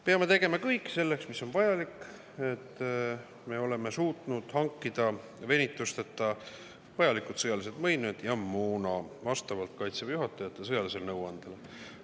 Peame tegema kõik, mis on vajalik, selleks et me suudaksime venitusteta hankida vajalikud sõjalised võimed ja moona vastavalt Kaitseväe juhatajate sõjalisele nõuandele.